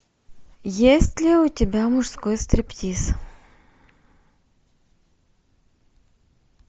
есть ли у тебя мужской стриптиз